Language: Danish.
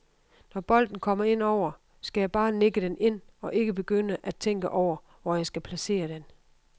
Når bolden kommer ind over, skal jeg bare nikke den ind og ikke begynde at tænke over, hvor jeg skal placere den.